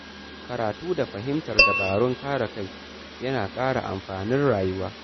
Karatu da fahimtar dabarun kare kai yana ƙara amfanin rayuwa.